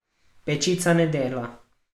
Pečica ne dela.